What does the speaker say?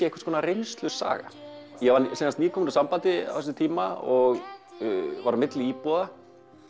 einhvers konar reynslusaga ég var nýkomin úr sambandi á þessum tíma og var á milli íbúða